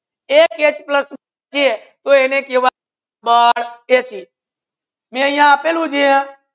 એક H plus Cl એને કેહવાય મે યહા અપેલુ છે